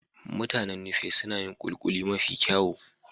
Mutanen Nupe suna yin kulikuli mafi kyau.